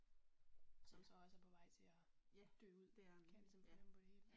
Som så også er på vej til og dø ud kan jeg ligesom fornemme på det hele